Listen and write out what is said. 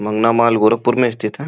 मगना mall Gorakhpur में स्थित है।